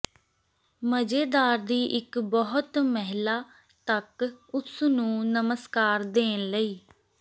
ਮਜ਼ੇਦਾਰ ਦੀ ਇੱਕ ਬਹੁਤ ਮਹਿਲਾ ਤੱਕ ਉਸ ਨੂੰ ਨਮਸਕਾਰ ਦੇਣ ਲਈ